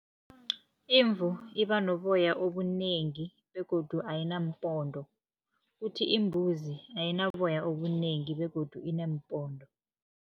Imvu iba noboya obunengi begodu ayinaampondo, kuthi imbuzi ayinaboya obunengi begodu ineempondo.